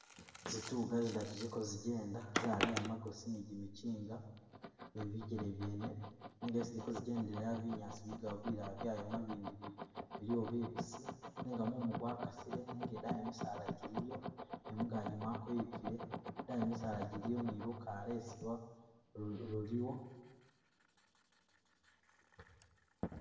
Zitunga zidatu ziliko zijenda, Zaleya magosi ni’jimikinga ni bigele byene , nenga isi ziliko zijendela binyaasi biliwo bilala byayoma bindi biliwo bibisi nenga mumu gwakasili nenga edayi misala jiliyo ni mungaji mwakweyukile ,idayi bisala biliyo ni lukalwesi luliyo.